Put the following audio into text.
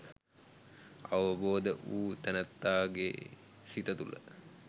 අවබෝධ වූ තැනැත්තාගේ සිත තුළ